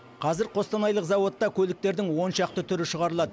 қазір қостанайлық зауытта көліктердің он шақты түрі шығарылады